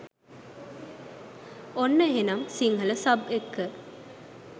ඔන්න එහෙනම් සිංහල සබ් එක්ක